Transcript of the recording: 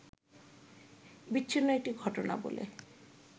বিচ্ছিন্ন একটি ঘটনা বলে